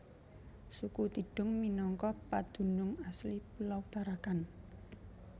Suku Tidung minangka pedunung asli pulo Tarakan